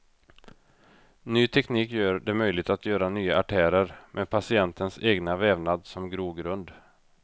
Ny teknik gör det möjligt att göra nya artärer med patientens egna vävnad som grogrund.